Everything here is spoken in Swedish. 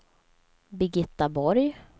Birgitta Borg